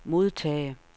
modtage